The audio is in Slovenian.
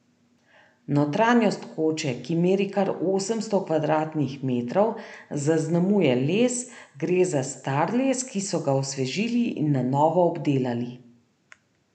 Notranjost koče, ki meri kar osemsto kvadratnih metrov, zaznamuje les, gre za star les, ki so ga osvežili in na novo obdelali.